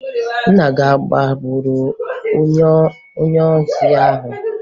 Nna gị a agbagburu onye ohi ahụ?